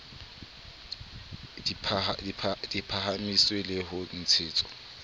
di phahamiswe le ho ntshetswa